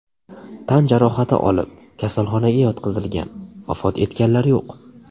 tan jarohati olib, kasalxonaga yotqizilgan, vafot etganlar yo‘q.